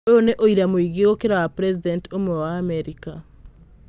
Ũyũ nĩ ũira mũingĩ gũkĩra wa president ũmwe wa Amerika.